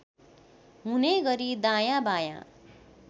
हुने गरी दायाँबायाँ